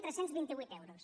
tres cents i vint vuit euros